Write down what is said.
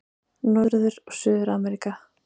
Norður- og Suður-Ameríka